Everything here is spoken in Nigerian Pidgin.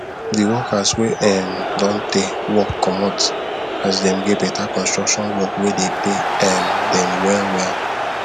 de workers wey um don tey work comot as dem get beta construction work wey dey pay um them well well